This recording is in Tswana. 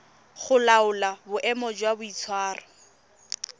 go laola boemo jwa boitshwaro